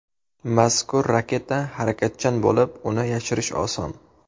Mazkur raketa harakatchan bo‘lib, uni yashirish oson.